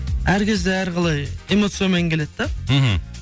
әр кезде әр қалай эмоциямен келеді да мхм